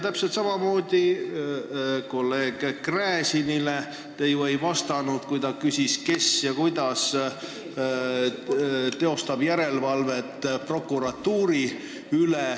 Täpselt samamoodi ei vastanud te kolleeg Gräzinile, kui ta küsis, kes ja kuidas teostab järelevalvet prokuratuuri üle.